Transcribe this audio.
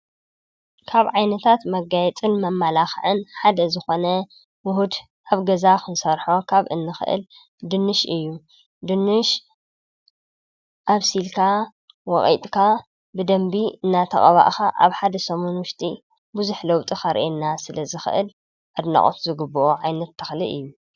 ካብ ዓይነታት መጋየጽን መመላከዕን ሓደ ዝኾነ ዉሁድ ኣብ ገዛ ክንሰርሖ ካብ እንክእል ድንሽ እዩ። ድንሽ ኣብሲልካ ፣ወቂጥካ ብደንቢ እናተቀባእካ ኣብ ሓደ ሰሙን ዉሽጢ ብዙሕ ለዉጢ ከሪአና ስለ ዝክእል ኣድናቆት ዝግብኦ ዓይነት ተኽሊ እዩ ።